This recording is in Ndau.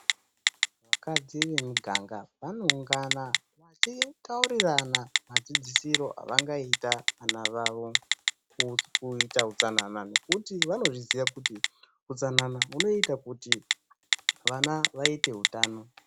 Vakadzi vemuganga vanoungana vachitaurirana madzidzisiro avangaita vana vavo, kuita utsanana nekuti vanozviziya kuti utsanana hunoita kuti vana vaite utano.